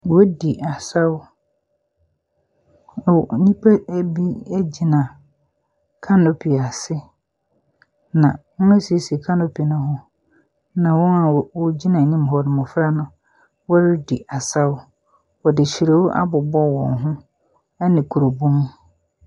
Wɔredi asew. Nnipa nnan bi gyina kanopi ase na wɔn esiesie kanopi no ho na wɔn ɔgyina hɔ no mmofra no ɔredi asaw. Wɔde hyire abobɔ wɔn ho.